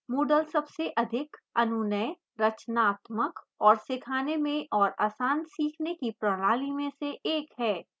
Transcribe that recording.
moodle सबसे अधिक अनुनेय रचनात्मक और सीखाने में और आसान सीखने की प्रणाली में से एक है